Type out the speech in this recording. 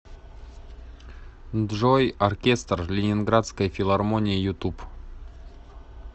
джой оркестр ленинградской филармонии ютуб